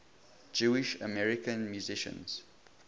jewish american musicians